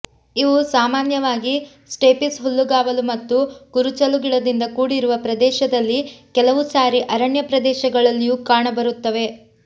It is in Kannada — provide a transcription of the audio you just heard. ಇವು ಸಾಮಾನ್ಯವಾಗಿ ಸ್ಟೇಪಿಸ್ ಹುಲ್ಲುಗಾವಲು ಮತ್ತು ಕುರುಚಲು ಗಿಡದಿಂದ ಕೂಡಿರುವ ಪ್ರದೇಶದಲ್ಲಿ ಕೆಲವು ಸಾರಿ ಅರಣ್ಯ ಪ್ರದೇಶಗಳಲ್ಲಿಯೂ ಕಾಣಬರುತ್ತವೆ